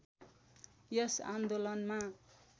यस आन्दोलनमा